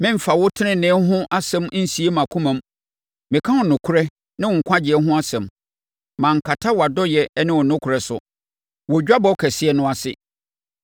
Meremfa wo tenenee ho asɛm nsie mʼakoma mu; meka wo nokorɛ ne wo nkwagyeɛ ho asɛm. Mankata wʼadɔeɛ ne wo nokorɛ so wɔ dwabɔ kɛseɛ no ase.